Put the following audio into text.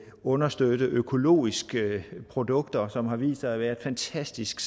understøtte økologiske produkter som har vist sig at være et fantastisk